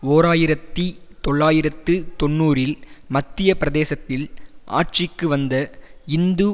ஓர் ஆயிரத்தி தொள்ளாயிரத்து தொன்னூறில் மத்திய பிரதேசத்தில் ஆட்சிக்கு வந்த இந்து